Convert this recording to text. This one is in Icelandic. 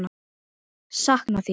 Sakna þín.